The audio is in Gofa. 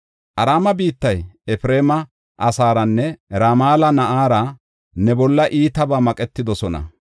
Araame biittay, Efreema asaaranne Ramala na7aara ne bolla iitabaa maqetidosona.”